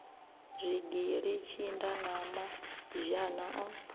zwigili tshinda na mazhana o